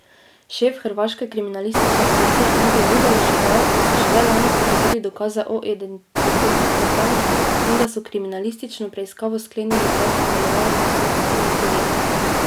Šef hrvaške kriminalistične policije Ante Gudelj je še dejal, da so šele lani pridobili dokaze o identiteti vpletenih in da so kriminalistično preiskavo sklenili brez sodelovanja s srbskimi kolegi.